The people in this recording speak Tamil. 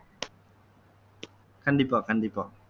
கண்டிப்பா கண்டிப்பா